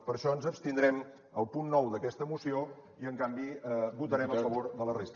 per això ens abstindrem al punt nou d’aquesta moció i en canvi votarem a favor de la resta